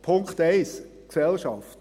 Punkt 1, Gesellschaft